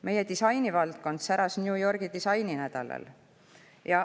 Meie disainivaldkond säras New Yorgi disaininädalal.